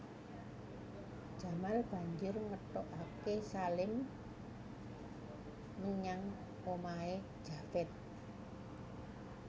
Jamal banjur ngetutaké Salim menyang omahé Javed